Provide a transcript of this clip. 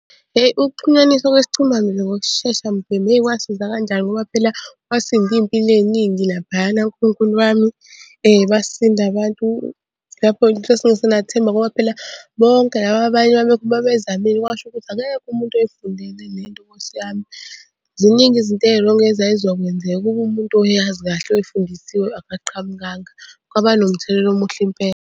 Hheyi ukuxhunyaniswa kwesicima mlilo ngokushesha mbhemu hheyi kwasiza kanjani ngoba phela kwasinda iy'mpilo ey'ningi laphayana Nkulunkulu wami. Basinda abantu lapho-ke sasingasenathemba ngoba phela bonke laba abanye babezamile kwasho ukuthi akekho umuntu oyifundele le nto nkosi yami. Ziningi izinto ey'rongi ezay'zokwenzeka ukuba umuntu oyazi kahle oyifundisiwe akaqhamukanga. Kwaba nomthelela omuhle impela.